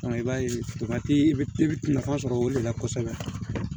i b'a ye i bɛ nafa sɔrɔ o de la kosɛbɛ